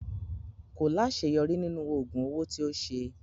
Ko laṣeyọri ninu oogun owo ti o ṣe